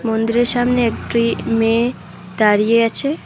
মন্দিরের সামনে একটি মেয়ে দাঁড়িয়ে আছে।